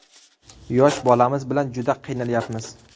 Yosh bolamiz bilan juda qiynalyapmiz.